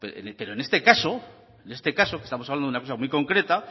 pues en este caso en este caso que estamos hablando una cosa muy concreta